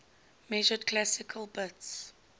measured classical bits